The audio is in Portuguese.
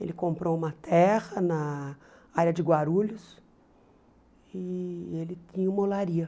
Ele comprou uma terra na área de Guarulhos e ele tinha uma olaria.